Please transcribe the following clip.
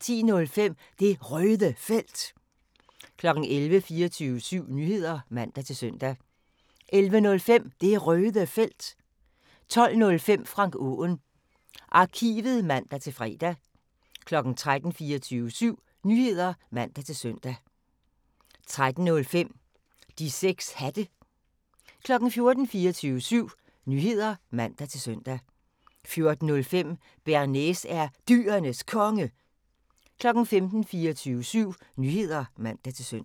10:05: Det Røde Felt 11:00: 24syv Nyheder (man-søn) 11:05: Det Røde Felt 12:05: Frank Aaen Arkivet (man-fre) 13:00: 24syv Nyheder (man-søn) 13:05: De 6 Hatte 14:00: 24syv Nyheder (man-søn) 14:05: Bearnaise er Dyrenes Konge 15:00: 24syv Nyheder (man-søn)